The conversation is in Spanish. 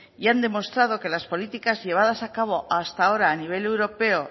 y han demostrado que las políticas llevadas a cabo hasta ahora a nivel europeo